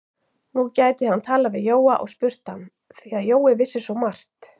Nú gæti hann talað við Jóa og spurt hann, því að Jói vissi svo margt.